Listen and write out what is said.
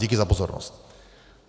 Děkuji za pozornost.